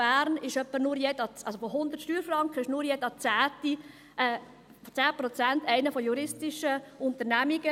Bern ist nur jeder zehnte, also 10 Prozent, einer von juristischen Personen.